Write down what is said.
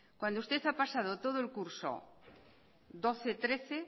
cuando usted ha pasado todo el curso doce barra trece